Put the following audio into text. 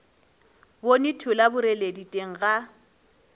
bone thola boreledi teng ga